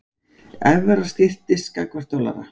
Evra styrktist gagnvart dollara